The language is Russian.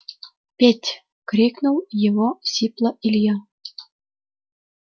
петь крикнул его сипло илья